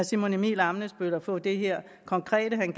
simon emil ammitzbøll at få det her konkrete han